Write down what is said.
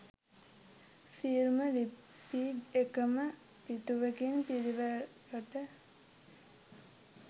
සියලුම ලිපි එකම පිටුවකින් පිලිවලකට